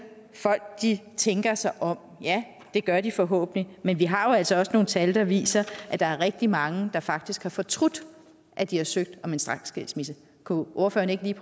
at folk tænker sig om ja det gør de forhåbentlig men vi har jo altså også nogle tal der viser at der er rigtig mange der faktisk har fortrudt at de har søgt om en straksskilsmisse kunne ordføreren ikke lige